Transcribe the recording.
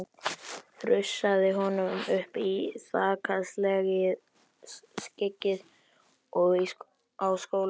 Þrusaði honum upp í þakskeggið á skólanum.